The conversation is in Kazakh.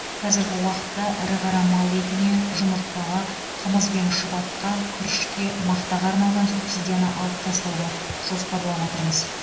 қазіргі уақытта ірі қара мал етіне жұмыртқаға қымыз бен шұбатқа күрішке мақтаға арналған субсидияны алып тастауды жоспарлап отырмыз